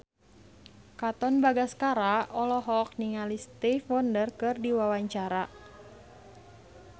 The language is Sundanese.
Katon Bagaskara olohok ningali Stevie Wonder keur diwawancara